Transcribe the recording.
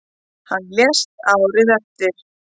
Hann lést árið eftir.